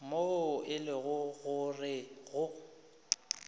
moo e lego gore go